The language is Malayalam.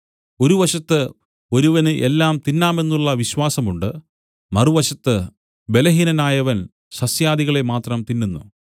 ഒരു വശത്ത് ഒരുവന് എല്ലാം തിന്നാമെന്നുള്ള വിശ്വാസമുണ്ട് മറുവശത്ത് ബലഹീനനായവൻ സസ്യാദികളെ മാത്രം തിന്നുന്നു